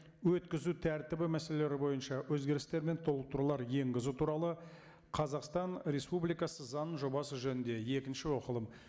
өткізу тәртібі мәселелері бойынша өзгерістер мен толықтырулар енгізу туралы қазақстан республикасы заңының жобасы жөнінде екінші оқылым